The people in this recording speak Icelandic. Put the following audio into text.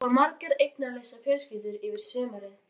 Þarna búa margar eignalausar fjölskyldur yfir sumarið.